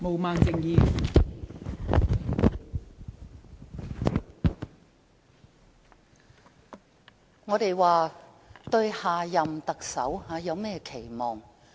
我們現在討論對下任特首的期望。